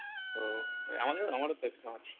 ওহ এই আমাদেরও আমারও তো exam আছে